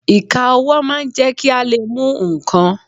Ìka ọwọ́ máa ń jẹ́ kí a lè mú ǹkan.